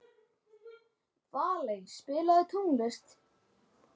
Sigurhans, hvernig kemst ég þangað?